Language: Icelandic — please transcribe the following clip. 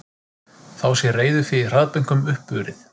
Þá sé reiðufé í hraðbönkum uppurið